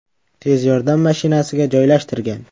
Tez yordam mashinasiga joylashtirgan.